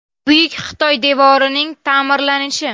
Buyuk Xitoy devorining ta’mirlanishi .